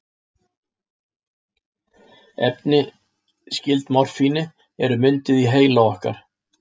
Efni skyld morfíni eru mynduð í heila okkar.